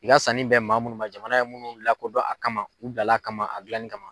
I ka sanni bɛn maa munnu ma jamana ye munnu lakodɔn a kama u bila l'a kama a gilanni kama.